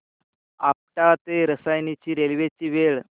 आपटा ते रसायनी रेल्वे ची वेळ